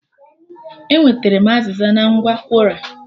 E nwetere m azịza na ngwa Kwora